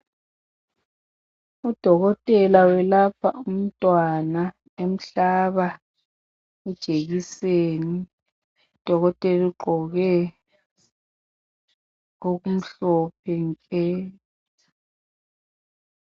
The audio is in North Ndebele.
udokotela uyelapha umntwana emhlaba ijekiseni udokotela ugqoke okumhlophe nke